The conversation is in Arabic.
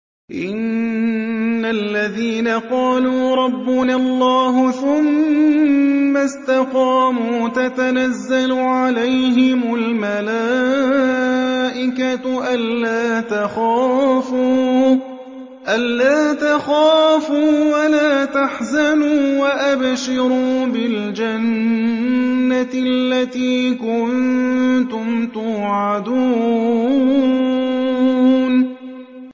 إِنَّ الَّذِينَ قَالُوا رَبُّنَا اللَّهُ ثُمَّ اسْتَقَامُوا تَتَنَزَّلُ عَلَيْهِمُ الْمَلَائِكَةُ أَلَّا تَخَافُوا وَلَا تَحْزَنُوا وَأَبْشِرُوا بِالْجَنَّةِ الَّتِي كُنتُمْ تُوعَدُونَ